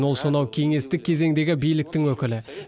ол сонау кеңестік кезеңдегі биліктің өкілі